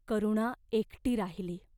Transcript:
करुणा एकटी राहिली.